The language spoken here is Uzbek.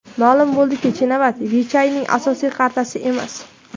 Ma’lum bo‘ldiki, Chinavat Vichayning asosiy qartasi emas.